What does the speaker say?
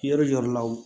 Yɔrɔ jɔyɔrɔ la wo